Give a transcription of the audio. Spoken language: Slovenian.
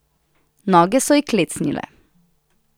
Noge so ji klecnile.